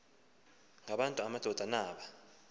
ngabantu amadoda naba